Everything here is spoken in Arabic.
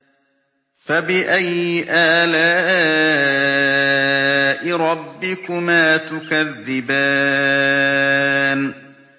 فَبِأَيِّ آلَاءِ رَبِّكُمَا تُكَذِّبَانِ